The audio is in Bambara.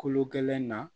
Kolo gɛlɛn na